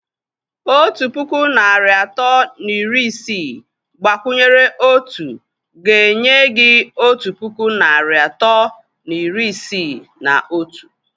Otu puku narị atọ na iri isii gbakwunyere otu ga-enye gị otu puku narị atọ na iri isii na otu.